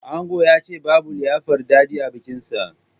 Ango yace babu liyafar dade a bikin sa